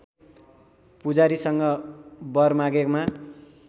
पुजारीसँग वर मागेमा